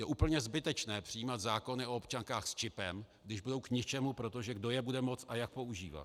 Je úplně zbytečné přijímat zákony o občankách s čipem, když budou k ničemu - protože kdo je bude moct a jak používat?